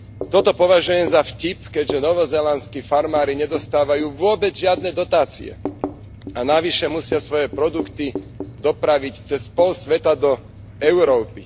Toto považujem za vtip, keďže novozélandský farmári nedostávajú vôbec žiadne dotácie a navyše musia svoje produkty dopraviť cez pol sveta do Európy.